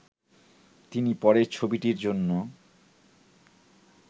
তিনি পরের ছবিটির জন্য